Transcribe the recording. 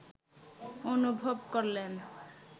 অনুভব করলেন